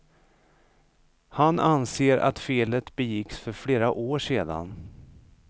Han anser att felet begicks för flera år sedan.